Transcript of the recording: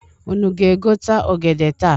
Unu ga-egote ogede taa?